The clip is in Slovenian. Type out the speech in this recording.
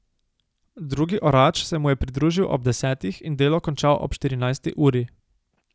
Drugi orač se mu je pridružil ob desetih in delo končal ob štirinajsti uri.